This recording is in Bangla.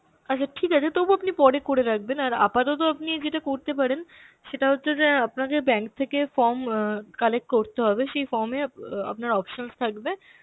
আচ্ছা ঠিক আছে তবুও আপনি পরে করে রাখবেন আর আপাতত আপনি যেটা করতে পারেন, সেটা হচ্ছে যে আপনাকে bank থেকে form অ্যাঁ collect করতে হবে, সেই form এ অ্যাঁ আপনার options থাকবে